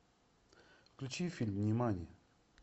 включи фильм нимани